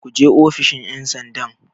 Ku je ofishin 'yansandan!